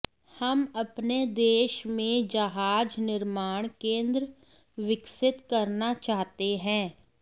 हम अपने देश में जहाज निर्माण केंद्र विकसित करना चाहते हैं